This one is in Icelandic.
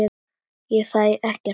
Ég fæ ekkert svar.